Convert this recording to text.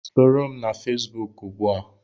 Soro m na Fesbuk ugbu a!